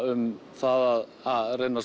um það að reyna